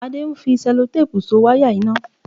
Adé ń fi Sẹlotéèpù So wáyà iná